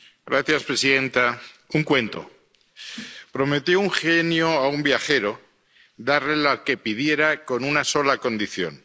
Señora presidenta un cuento. Prometió un genio a un viajero darle lo que pidiera, con una sola condición.